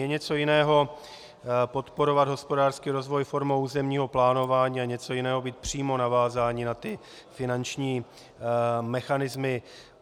Je něco jiného podporovat hospodářský rozvoj formou územního plánování a něco jiného být přímo navázáni na ty finanční mechanismy.